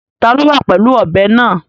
Ta ni ó wà pẹ̀lú ọ̀bẹ náà?